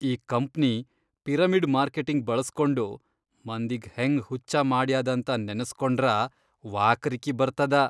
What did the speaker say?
ಈ company pyramid marketing ಬಳ್ಸ್ಕೊಂಡು ಮಂದಿಗ್ ಹೆಂಗ್ ಹುಚ್ಚ ಮಾಡ್ಯಾದಂತ ನೆನಸ್ಕೊಂಡ್ರ ವಾಕರಿಕಿ ಬರ್ತದ.